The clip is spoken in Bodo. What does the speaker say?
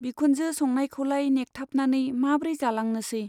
बिखुनजो संनायखौलाय नेखथाबनानै माब्रै जालांनोसै।